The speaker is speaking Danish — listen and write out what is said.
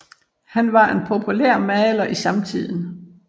Han var en populær maler i samtiden